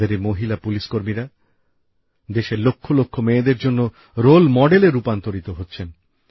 আমাদের এই মহিলা পুলিশকর্মীরা দেশের লক্ষলক্ষ মেয়েদের জন্য আদর্শ স্থানীয় হচ্ছেন